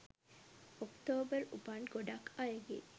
ඔක්තෝම්බර් උපන් ගොඩක් අයගේ